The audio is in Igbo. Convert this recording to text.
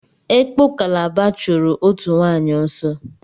Ekpo Kalaba chụrụ òtù nwaanyị ọsọ.